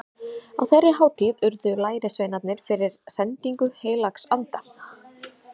Á þeirri hátíð urðu lærisveinarnir fyrir sendingu heilags anda.